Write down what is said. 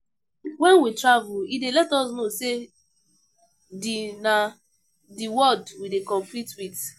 When we travel, e dey let us know sey di na di world we dey compete with